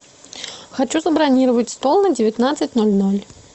хочу забронировать стол на девятнадцать ноль ноль